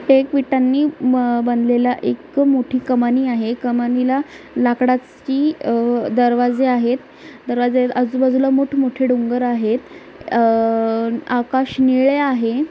हे एक विटांनी हम्म बनलेला एक मोठी कमानी आहे कमानीला लाकडाची दरवाजे आहेत दरवाजे आजूबाजूला मोठमोठी डोंगर आहेत अह आकाश निळे आहे.